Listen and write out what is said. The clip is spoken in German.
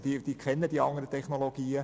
Sie kennen die anderen Technologien.